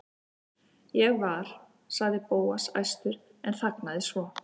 Ég var.- sagði Bóas æstur en þagnaði svo.